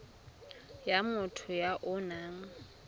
ya motho ya o nang